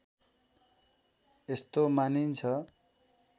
यस्तो मानिन्छ